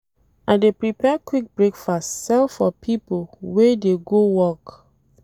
I dey prepare quick breakfast sell for pipo wey dey go work.